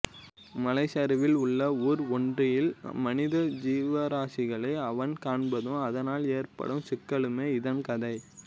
மலைச் சரிவில் உள்ள ஊர் ஒன்றில் மனித ஜீவராசிகளை அவன் காண்பதும் அதனால் ஏற்படும் சிக்கல்களுமே இதன் கதை